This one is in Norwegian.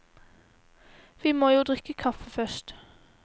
Vi må jo drikke kaffe først.